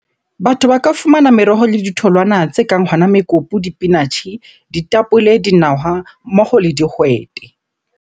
Batho ba ka fumana meroho le ditholwana tse kang hona mekopu, dipinatjhe, ditapole, dinawa mmoho le dihwete.